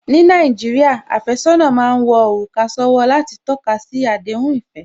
Ní Nàìjíríà, àfẹ́sọ́nà má ń wọ òrùka sówó láti tọ́kasi àdéhùn ìfẹ́